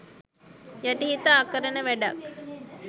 යටිහිත අකරණ වැඩක්.